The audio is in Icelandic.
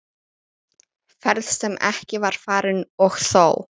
Ferð sem ekki var farin- og þó!